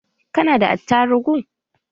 Ka nada attarugu?